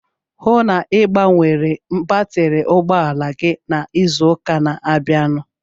Hụụ na Ị gbanwere batri ụgbọala n'izu ụka na-abịanụ!